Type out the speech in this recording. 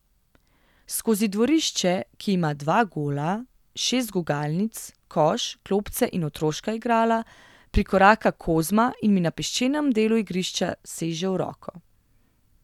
Skozi dvorišče, ki ima dva gola, šest gugalnic, koš, klopce in otroška igrala, prikoraka Kozma in mi na peščenem delu igrišča seže v roko.